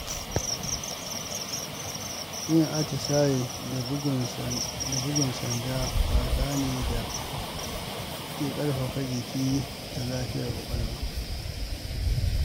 Yin atisaye da bugun sanda wasa ne da ke ƙarfafa jiki da lafiyar ƙwaƙwalwa.